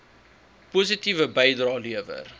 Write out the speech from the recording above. positiewe bydrae lewer